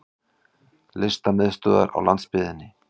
Listamiðstöðvar á landsbyggðinni!